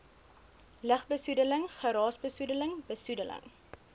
lugbesoedeling geraasbesoedeling besoedeling